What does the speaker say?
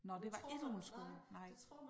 Nåh det var ikke på en skole nej